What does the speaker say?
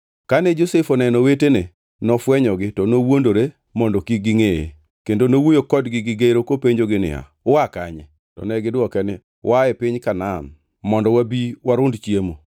Kane Josef oneno owetene, nofwenyogi to nowuondore mondo kik gingʼeye. Kendo nowuoyo kodgi gi gero kopenjogi niya, “Ua kanye?” To negidwoke niya, “Waa e piny Kanaan mondo wabi warund chiemo.”